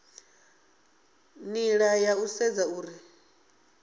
nila ya u sedza uri